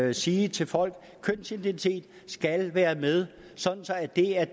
at sige til folk at kønsidentitet skal være med sådan at det er